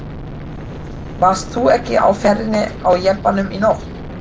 Varst þú ekki á ferðinni á jeppanum í nótt?